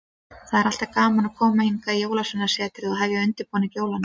Það er alltaf gaman að koma hingað í Jólasveinasetrið og hefja undirbúning jólanna.